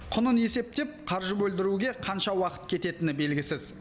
құнын есептеп қаржы бөлдіруге қанша уақыт кететіні белгісіз